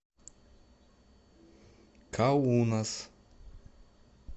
каунас